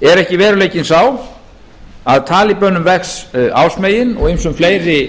er ekki veruleikinn sá að talíbönum vex ásmegin og ýmsum fleiri